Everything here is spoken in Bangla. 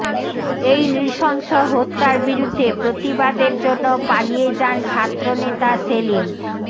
এই নৃশংস হত্যার বিরুদ্ধে প্রতিবাদের জন্য পালিয়ে যান ছাত্রনেতা সেলিম